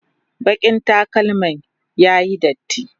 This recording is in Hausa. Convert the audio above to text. bakin takalman ya Yi datti